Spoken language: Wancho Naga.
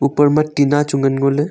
oupar ma tinna chu ngan ngoley.